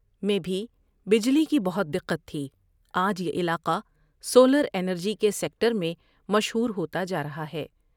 میں بھی بجلی کی بہت دقت تھی ، آج یہ علاقہ سولر ابینر جی کے سیکٹر میں مشہور ہوتا جا رہا ہے۔